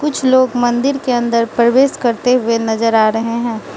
कुछ लोग मंदिर के अंदर प्रवेश करते हुए नजर आ रहे हैं।